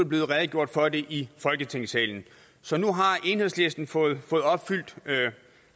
blevet redegjort for det i folketingssalen så nu har enhedslisten fået opfyldt